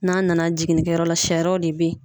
N'an nana jiginnikɛ yɔrɔ la , sariyaw de be yen.